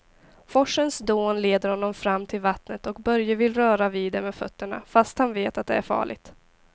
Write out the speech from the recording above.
Forsens dån leder honom fram till vattnet och Börje vill röra vid det med fötterna, fast han vet att det är farligt.